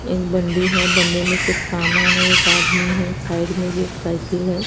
एक बंडी है बंडे में कुछ सामान है एक आदमी है साइड में भी एक साइकिल है।